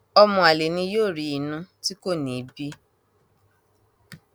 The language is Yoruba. ọmọ àlè ni yóò rí inú tí kò ní í bí